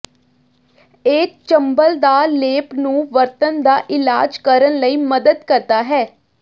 ਇਹ ਚੰਬਲ ਦਾ ਲੇਪ ਨੂੰ ਵਰਤਣ ਦਾ ਇਲਾਜ ਕਰਨ ਲਈ ਮਦਦ ਕਰਦਾ ਹੈ